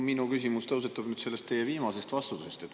Minu küsimus tõusetub sellest teie viimasest vastusest.